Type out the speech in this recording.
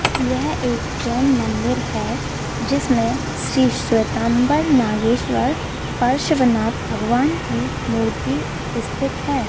यह एक जैन मंदिर है जिसमें श्री श्वेतांबर नागेश्वर पार्श्वनाथ भगवान की मूर्ति स्थित है।